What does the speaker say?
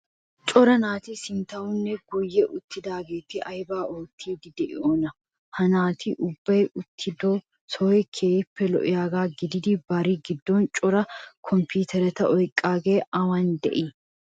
Cora naati sinttawunne guyye uttidaageeti aybaa oottiiddi de'yonaa? Ha naati ubbay uttido sohoy keehippe lo"iyagaa gidid bari giddon cora komppiiteriya oyqqidaagee awan de'ii?